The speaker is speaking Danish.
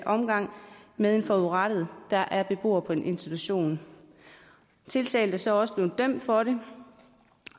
omgang med en forudrettet der er beboer på institutionen tiltalte er så også blevet dømt for det